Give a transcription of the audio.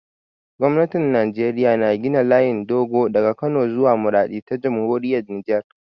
Gwamnatin Najeriya na gina layin dogo daga Kano zuwa Maraɗi ta Jamhuriyar Nijar.